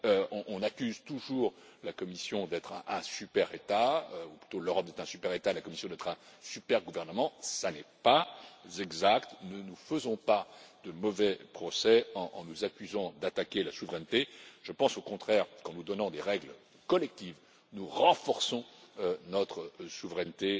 On accuse toujours la Commission d'être un super État ou plutôt l'Europe d'être un super État et la Commission d'être un super gouvernement ce n'est pas exact, ne nous faisons pas de mauvais procès en nous accusant d'attaquer la souveraineté je pense au contraire qu'en nous donnant des règles collectives, nous renforçons notre souveraineté